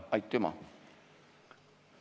Aitüma!